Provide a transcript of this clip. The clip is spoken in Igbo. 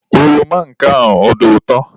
Oroma nke a ọ dị ụtọ?